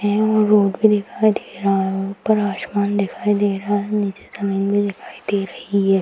हैं वहां रोड भी दिखाई दे रहा है ऊपर आसमान दिखाई दे रहा है नीचे जमींन भी दिखाई दे रही है।